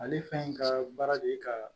Ale fɛn in ka baara de ye ka